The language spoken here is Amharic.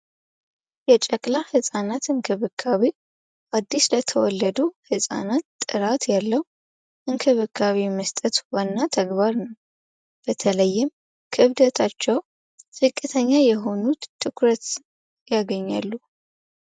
የጨቅላ ህፃናት እንክብካቤ አዲስ የተወለዱ ህፃናት ጥራት ያለው እንክብካቤ መስጠት ዋና ተግባር ነው። በተለይም ክብደታቸው ዝቅተኛ የሆኑት ትኩረት ያገኛሉ።